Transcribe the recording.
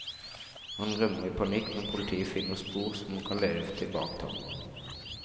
Han rømmer i panikk, men politiet finner spor som kan lede tilbake til ham.